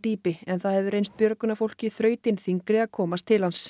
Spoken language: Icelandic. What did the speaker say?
dýpi en það hefur reynst björgunarfólki þrautin þyngri að komast til hans